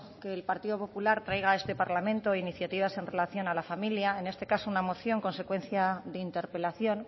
que el partido popular traiga a este parlamento iniciativas en relación a la familia en este caso una moción consecuencia de interpelación